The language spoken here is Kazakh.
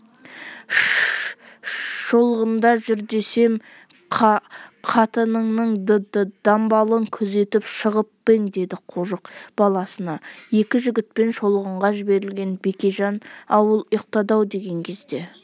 ш-ш-ш-шолғында жүр десем қа-қа-қатыныңның д-д-дамбалын күзетіп шығып па ең деді қожық баласына екі жігітпен шолғынға жіберілген бекежан ауыл ұйықтады-ау деген кезде